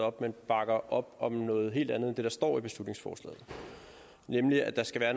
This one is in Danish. op men bakker op om noget helt andet end det der står i beslutningsforslaget nemlig at der skal være